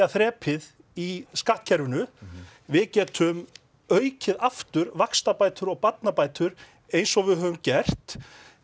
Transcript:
þrepið í skattkerfinu við getum aukið aftur vaxta og barnabætur eins og við höfum gert